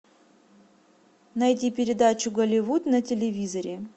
найди передачу голливуд на телевизоре